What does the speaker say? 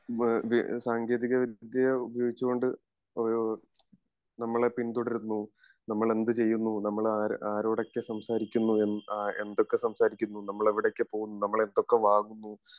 സാങ്കേതിക വിദ്യ ഉപയോഗിച്ച് കൊണ്ട് നമ്മളെ പിന്തുടരുന്നു നമ്മൾ എന്ത് ചെയ്യുന്നു നമ്മൾ ആരോടൊക്കെ സംസാരിക്കുന്നു എന്തൊക്കെ സംസാരിക്കുന്നു നമ്മൾ എവിടൊക്കെ പോകുന്നു നമ്മൾ എന്തൊക്കെ വാങ്ങുന്നു